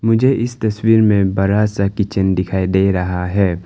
मुझे इस तस्वीर में बड़ा सा किचन दिखाई दे रहा है।